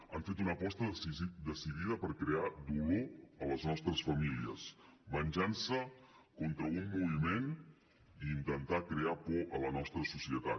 han fet una aposta decidida per crear dolor a les nostres famílies venjança contra un moviment i intentar crear por a la nostra societat